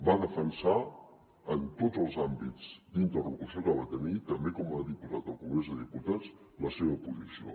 va defensar en tots els àmbits d’interlocució que va tenir també com a diputat al congrés dels diputats la seva posició